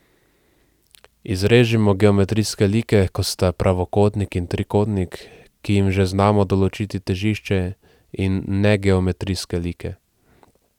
Izrežimo geometrijske like, kot sta pravokotnik in trikotnik, ki jim že znamo določiti težišče, in negeometrijske like.